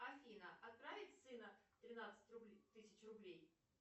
афина отправить сыну тринадцать тысяч рублей